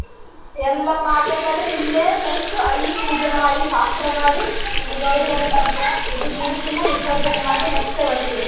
ಎಲ್ಲಾ ಮಾಡ್ಬೇಕಾದ್ರೆ ಇನ್ನೇನ್ next ಅಲ್ಲಿ ಪೂಜೆ ಮಾಡಿ ಶಾಸ್ತ್ರ ಮಾಡಿ ಗೌರಿ ಗಣೇಶ ಹಬ್ಬ ಮೂರ್ತಿನ ದಿನ ವಿಸರ್ಜನೆ ಮಾಡಿ ಮತ್ತೆ ಬರ್ತೀವಿ.